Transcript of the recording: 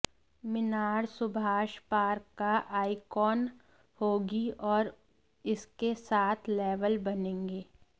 मीनार Subhash park का icon होगी और इसके सात लेवल बनेंगे